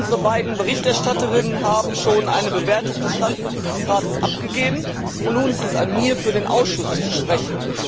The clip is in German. Unsere beiden Berichterstatterinnen haben schon eine Bewertung des Standpunktes des Rates abgegeben, und nun ist es an mir, für den Ausschuss zu sprechen.